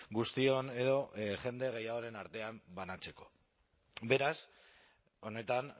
guztion edo jende gehiagoren artean banatzeko beraz honetan